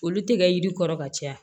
Olu tɛ kɛ yiri kɔrɔ ka caya